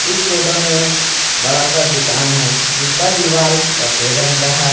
इस फोटो में एक बड़ा सा दुकान है जिसका दीवाल सफेद रंग का है।